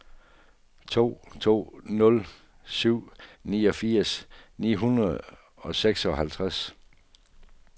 to to nul syv niogfirs ni hundrede og seksoghalvtreds